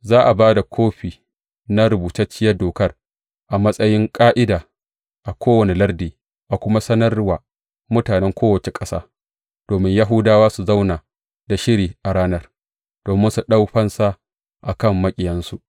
Za a ba da kofi na rubutacciyar dokar a matsayin ƙa’ida a kowane lardi, a kuma sanar wa mutanen kowace ƙasa, domin Yahudawa su zauna da shiri a ranar, domin su ɗau fansa a kan maƙiyansu.